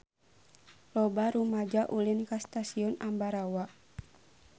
Loba rumaja ulin ka Stasiun Ambarawa